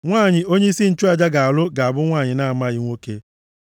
“ ‘Nwanyị onyeisi nchụaja ga-alụ ga-abụ nwanyị na-amaghị nwoke.